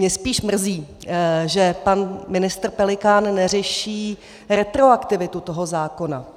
Mě spíš mrzí, že pan ministr Pelikán neřeší retroaktivitu toho zákona.